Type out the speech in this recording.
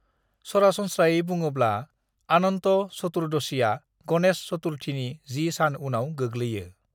सरासनस्रायै बुङोब्ला अनन्त चतुर्दशीआ गणेश चतुर्थीनि जि सान उनाव गोगलैयो।